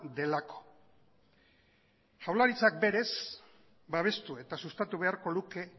delako jaurlaritzak berez babestu eta sustatu beharko luke